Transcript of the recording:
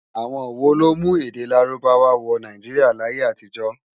Awòn wó ló mú èdè Lárúbáwá wò Náijiriá láyé-átijò.?